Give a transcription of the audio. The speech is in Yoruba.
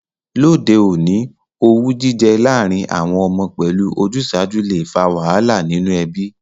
Lóde ọ̀ní, owú jijẹ lárìn àwon ọmọ pẹ́lu ojúsàju le fa wàhálà nínú ebí